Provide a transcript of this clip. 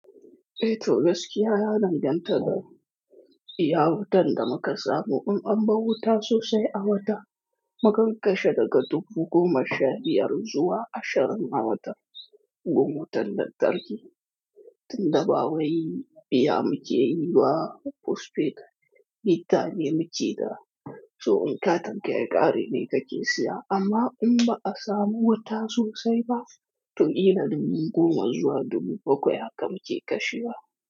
Ae tom gaskiya ya danganta da iya wutar da muka samu. In an bar wuta sosai a wata, mukan kashe daga dubu goma sha biyar zuwa ashirin a wata. Gun wutar lantarki tunda ba wai biya mukeyi banphosphate, meter ce muke da so in katinka ya ƙare ne kake siya. Amma in ba a samu wuta sosai ba, to kila dubu goma zuwa dubu bakwai haka muke kashewa.